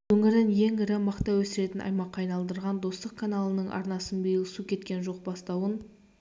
өңірін ең ірі мақта өсіретін аймаққа айналдырған достық каналының арнасынан биыл су кеткен жоқ бастауын